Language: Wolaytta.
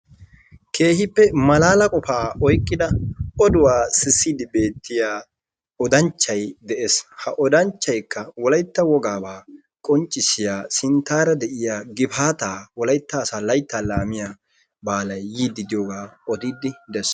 keehippe malaala qopa oyqqida oduwaa sisside beettiya odanchchay dees. Ha oddanchchayka Wolaytta wogaaba qonccissiya sinttara diyaa gifaata Wolaytta asaa laytta laamiyaa baalay yiidi diyooga odidde dees.